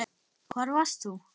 Hvar varst þú???